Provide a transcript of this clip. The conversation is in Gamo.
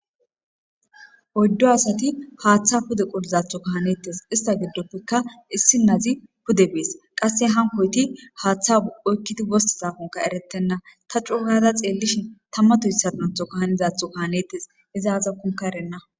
Oyiddu asati haaththa pude qolizatho kahanettes ista giddoppekka issi nazi pude bees qasse hankoyti haaththaoykkiti wosa zafonka eretenna ta cuuhada xeellishin tammato hissanatho kahanizatho kahanetes izaaza kunka erenna